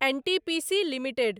NTPC limited